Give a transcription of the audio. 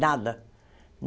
Nada!